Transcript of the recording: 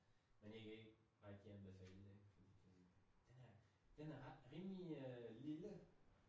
Men jeg kan ikke rigtig anbefale det fordi den er den er ret rimelig øh lille